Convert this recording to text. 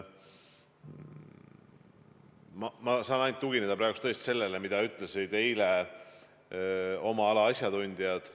Ma saan praegu tugineda tõesti ainult sellele, mida ütlesid eile oma ala asjatundjad.